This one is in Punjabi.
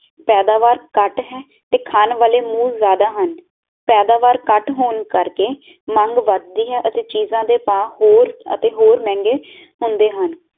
ਪੈਦਾਵਾਰ ਕੱਟ ਹੈ ਤੇ ਖਾਨ ਵਾਲੇ ਮੂੰਹ ਜਾਦਾ ਹਨ ਪੈਦਾਵਾਰ ਕੱਟ ਹੋਣ ਕਰ ਕੇ ਮੰਗ ਵੱਧ ਦੀਆ ਅਤੇ ਚੀਜਾਂ ਦੇ ਭਾਅ ਹੋਰ ਅਤੇ ਹੋਰ ਮਹਿੰਗੇ ਹੁੰਦੇ ਹਨ